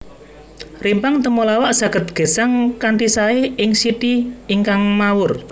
Rimpang temulawak saged gesang kanthi saé ing siti ingkang mawur